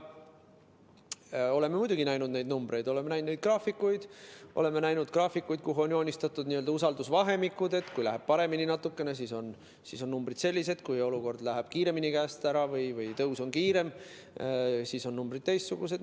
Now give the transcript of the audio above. Oleme muidugi näinud neid numbreid, oleme näinud neid graafikuid, kuhu on joonistatud usaldusvahemikud, et kui läheb natukene paremini, siis on numbrid sellised, kui olukord läheb kiiremini käest ära või tõus on kiirem, siis on numbrid teistsugused.